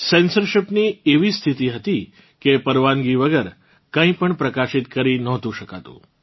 censorship ની એવી સ્થિતિ હતી કે પરવાનગી વગર કંઇ પણ પ્રકાશિત કરી નહોતું શકાતું